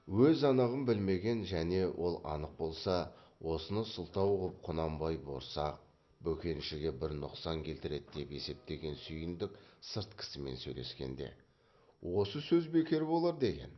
өз анығын білмеген және ол анық болса осыны сылтау қып құнанбай борсақ бөкеншіге бір нұқсан келтіреді деп есептеген сүйіндік сырт кісімен сөйлескенде осы сөз бекер болар деген